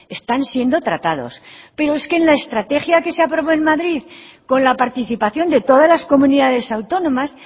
están siendo tratados pero es que en la estrategia que se aprobó en madrid con la participación de todas las comunidades autónomas